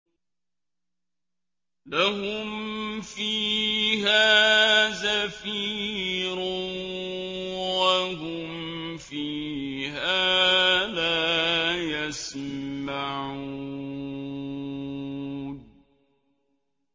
لَهُمْ فِيهَا زَفِيرٌ وَهُمْ فِيهَا لَا يَسْمَعُونَ